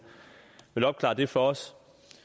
opklare det for os